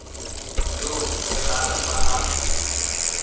yoo ge a rata a